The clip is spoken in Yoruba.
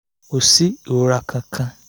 kò sí ìrora kankan